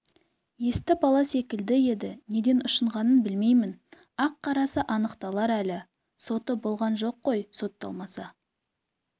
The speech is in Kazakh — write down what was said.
есті бала секілді еді неден ұшынғанын білмеймін ақ-қарасы анықталар әлі соты болған жоқ қой сотталмаса